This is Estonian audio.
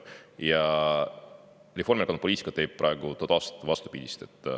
Aga Reformierakonna poliitika teeb praegu vastupidist.